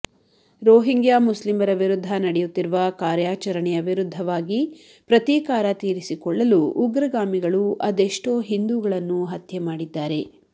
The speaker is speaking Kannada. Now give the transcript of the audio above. ರೋಹಿಂಗ್ಯಾ ಮುಸ್ಲಿಮರ ವಿರುದ್ಧ ನಡೆಯುತ್ತಿರುವ ಕಾರ್ಯಾಚರಣೆಯ ವಿರುದ್ಧವಾಗಿ ಪ್ರತೀಕಾರ ತೀರಿಸಿಕೊಳ್ಳಲು ಉಗ್ರಗಾಮಿಗಳು ಅದೆಷ್ಟೂ ಹಿಂದೂಗಳನ್ನು ಹತ್ಯೆ ಮಾಡಿದ್ದಾರೆ